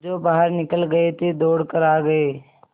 जो बाहर निकल गये थे दौड़ कर आ गये